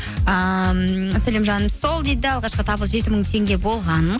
сәлем жаным сол дейді алғашқы табыс жеті мың теңге болған